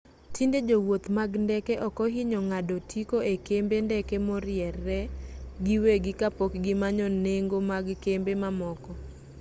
tinde jowuoth mag ndeke okohinyo ng'ado otiko e kembe ndeke moriere giwegi kapok gimanyo nengo mag kembe mamoko